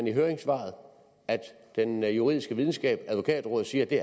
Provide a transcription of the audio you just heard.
i høringssvaret at den juridiske videnskab advokatrådet siger at det